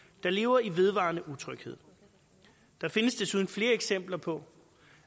der lever i vedvarende utryghed der findes desuden flere eksempler på